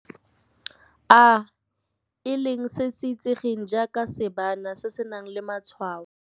A, e leng se se itsegeng jaaka seebana se se nang le matshwao.